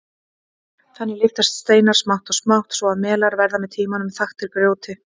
Þannig lyftast steinar smátt og smátt svo að melar verða með tímanum þaktir grjóti.